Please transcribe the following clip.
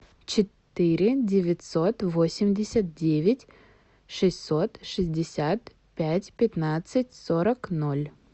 четыре девятьсот восемьдесят девять шестьсот шестьдесят пять пятнадцать сорок ноль